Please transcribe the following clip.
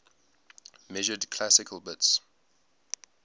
measured classical bits